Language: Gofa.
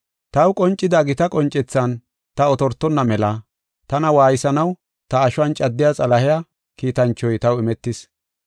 Taw qoncida gita qoncethan ta otortonna mela tana waaysanaw ta ashuwan caddiya Xalahiya kiitanchoy taw imetis.